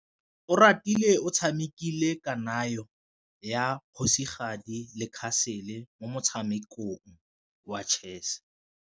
Oratile o tshamekile kananyô ya kgosigadi le khasêlê mo motshamekong wa chess.